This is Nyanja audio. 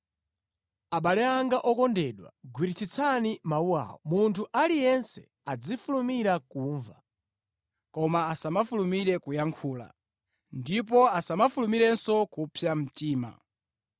Abale anga okondedwa, gwiritsitsani mawu awa: munthu aliyense azifulumira kumva, koma asamafulumire kuyankhula, ndipo asamafulumirenso kupsa mtima.